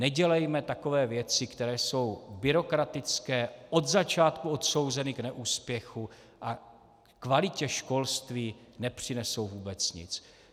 Nedělejme takové věci, které jsou byrokratické, od začátku odsouzeny k neúspěchu a kvalitě školství nepřinesou vůbec nic.